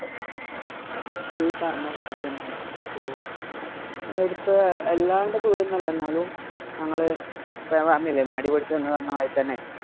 ഈ പറഞ്ഞ പോലെ തന്നെയാണ്. എടുത്ത് വല്ലാണ്ടെ ദൂരം ഒന്നും അല്ല. എന്നാലും ഞങ്ങള് ഇപ്പൊ നീ പറഞ്ഞില്ലേ മടിപിടിച്ച് എന്ന് പറഞ്ഞ മാതിരി തന്നെ